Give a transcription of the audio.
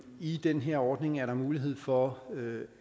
i den her ordning er mulighed for